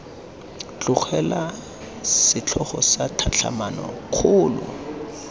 tlogelwa setlhogo sa tlhatlhamano kgolo